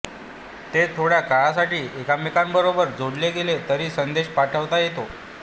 ते थोड्या काळासाठी एकमेकांबरोबर जोडले गेले तरी संदेश पाठवता येतो